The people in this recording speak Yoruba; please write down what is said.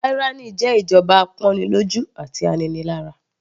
Tyranny jẹ́ ìjọba apọ́nilọ́jú àti aninilára.